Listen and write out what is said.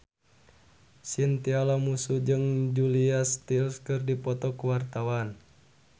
Chintya Lamusu jeung Julia Stiles keur dipoto ku wartawan